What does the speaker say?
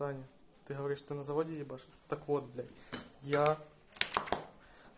таня ты говоришь ты на заводе ебашишь так вот блядь я